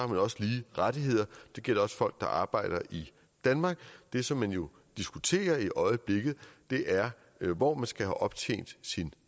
man også lige rettigheder det gælder også folk der arbejder i danmark det som man jo diskuterer i øjeblikket er hvor man skal have optjent sin